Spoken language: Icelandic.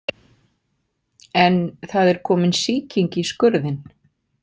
En það er komin sýking í skurðinn.